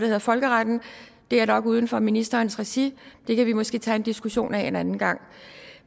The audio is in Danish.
hedder folkeretten det er nok uden for ministerens regi og det kan vi måske tage en diskussion af en anden gang